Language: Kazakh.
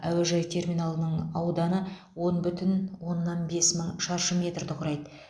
әуежай терминалының ауданы он бүтін оннан бес мың шаршы метрді құрайды